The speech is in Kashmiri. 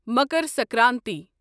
مکر سنکرانتی